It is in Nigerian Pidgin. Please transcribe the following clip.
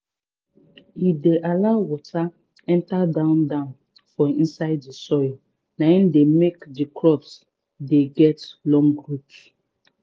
e dey allow water enter down down for inside di soil naim dey make di crops get long root